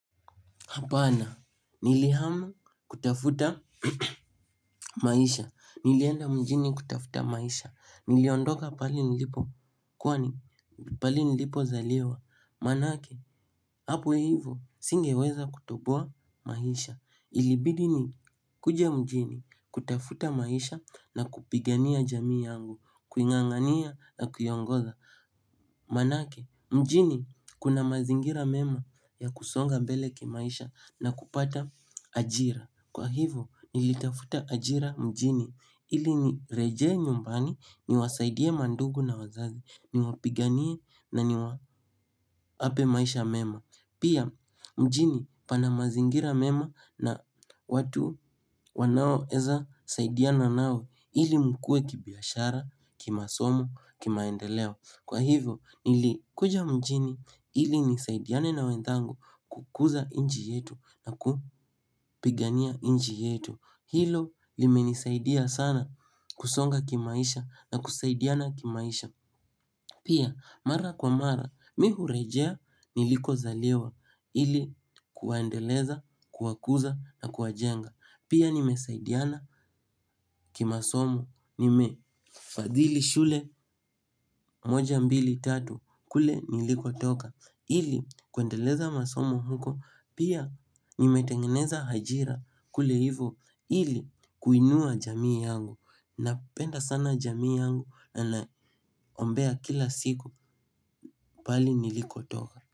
Hapana, nilihama kutafuta maisha, nilienda mjini kutafuta maisha, niliondoka pahali nilipo kwani, pahali nilipozaliwa, maanake, hapo hivo, singeweza kutoboa maisha. Ilibidi nikuje mjini kutafuta maisha na kupigania jamii yangu, kuing'ang'ania na kuiongoza. Maanake mjini kuna mazingira mema ya kusonga mbele kimaisha na kupata ajira. Kwa hivo nilitafuta ajira mjini ili nirejee nyumbani niwasaidie mandugu na wazazi niwapiganie na niwa ape maisha mema. Pia mjini pana mazingira mema na watu wanaoeza saidiana nao ili mkue kibiashara, kimasomo, kimaendeleo. Kwa hivyo nilikuja mjini ili nisaidiane na wenthangu kukuza inji yetu na kupigania inji yetu. Hilo limenisaidia sana kusonga kimaisha na kusaidiana kimaisha. Pia mara kwa mara mi hurejea nilikozaliwa ili kuwaendeleza kuwakuza na kuwajenga. Pia nimesaidiana kimasomo nimefadhili shule moja mbili tatu kule nilikotoka ili kuendeleza masomo huko. Pia nimetengeneza hajira kule hivo ili kuinua jamii yangu. Napenda sana jamii yangu na naombea kila siku pahali nilikotoka.